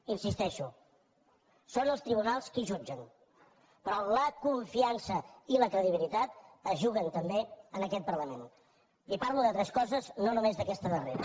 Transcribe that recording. hi insisteixo són els tribunals qui jutgen però la con fiança i la credibilitat es juguen també en aquest parlament i parlo d’altres coses no només d’aquesta darrera